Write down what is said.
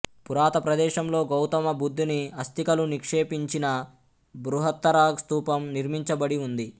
పురాత ప్రదేశంలో గౌతమబుద్ధుని అస్థికలు నిక్షేపించిన బృహత్తర స్థూపం నిర్మించబడి ఉంది